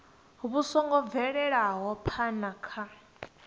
vhu songo bvelaho phana kha